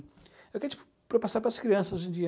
É o que a gente passar para as crianças hoje em dia.